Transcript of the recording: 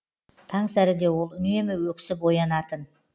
таңсәріде ол үнемі өксіп оянатын